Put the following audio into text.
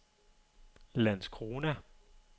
Landskrona